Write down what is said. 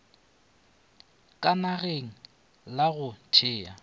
ka nageng la go thea